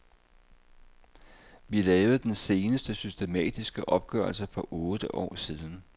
Vi lavede den seneste systematiske opgørelse for otte år siden.